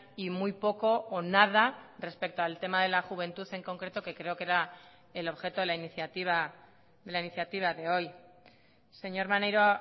y muy poco o nada respecto al tema de la juventud en concreto que creo que era el objeto de la iniciativa de la iniciativa de hoy señor maneiro